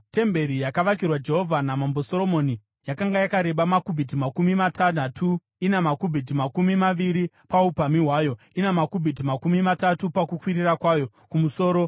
Temberi yakavakirwa Jehovha naMambo Soromoni yakanga yakareba makubhiti makumi matanhatu , ina makubhiti makumi maviri paupamhi hwayo, ina makubhiti makumi matatu pakukwirira kwayo kumusoro.